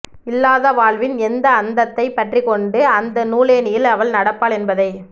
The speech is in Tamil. இல்லாத வாழ்வின் எந்த அந்தத்தை பற்றிக்கொண்டு அந்த நூலேணியில் அவள் நடப்பாள் என்பதை